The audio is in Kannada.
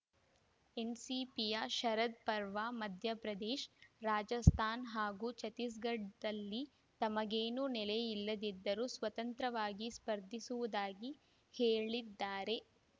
ಎನ್‌ಸಿಪಿಯ ಶರದ್‌ ಪರವಾ ಮಧ್ಯಪ್ರದೇಶ ರಾಜಸ್ಥಾನ ಹಾಗೂ ಛತ್ತೀಸ್‌ಗಢದಲ್ಲಿ ತಮಗೇನೂ ನೆಲೆಯಿಲ್ಲದಿದ್ದರೂ ಸ್ವತಂತ್ರವಾಗಿ ಸ್ಪರ್ಧಿಸುವುದಾಗಿ ಹೇಳಿದ್ದಾರೆ